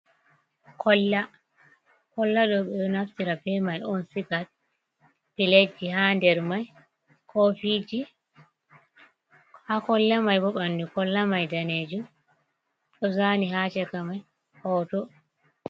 Kolla, kolla ɗo ɓe ɗo naftira ɓe mai on siga pilet ji ha nɗer mai kofiji, ha kolla mai ɓo ɓanɗu kolla mai ɗanejum ɗo zani ha chaka mai hoto.